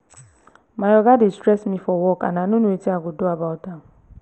my oga dey stress me for work and i no know wetin i go do about am